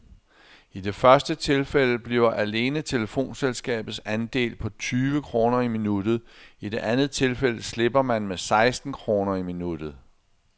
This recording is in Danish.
I det første tilfælde bliver alene telefonselskabets andel på tyve kroner i minuttet, i det andet tilfælde slipper man med seksten kroner i minuttet.